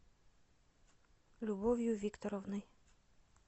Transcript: любовью викторовной